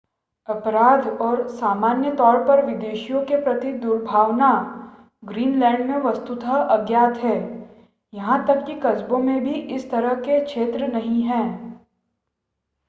अपराध और सामान्य तौर पर विदेशियों के प्रति दुर्भावना ग्रीनलैंड में वस्तुतः अज्ञात है यहां तक कि कस्बों में भी इस तरह के क्षेत्र नहीं हैं